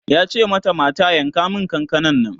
yace mata mata "yanka min kakanan Nan!''